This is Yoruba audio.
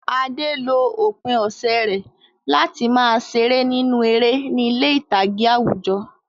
Ade lo òpin ọ̀sẹ̀ rẹ̀ láti máa ṣeré nínú eré ní ilé ìtàgé àwùjọ.